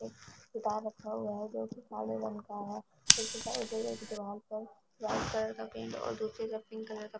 रखा हुआ है जो की काले रंग का है दिवाल पर लाल कलर का पेंट और दूसरी तरफ पिंक कलर का--